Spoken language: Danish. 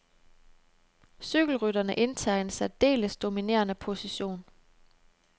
Cykelrytterne indtager en særdeles dominerende position.